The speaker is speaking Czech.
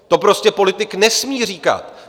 To prostě politik nesmí říkat.